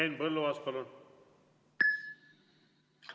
Henn Põlluaas, palun!